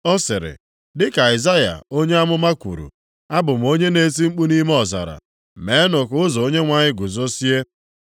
Ọ sịrị, dịka Aịzaya onye amụma kwuru, “Abụ m onye na-eti mkpu nʼime ọzara, ‘Meenụ ka ụzọ Onyenwe anyị guzozie.’ ”+ 1:23 \+xt Aịz 40:3\+xt*